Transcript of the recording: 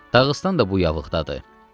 Dağıstan da bu yağılıqdadır.